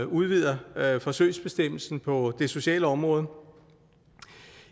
udvider forsøgsbestemmelsen på det sociale område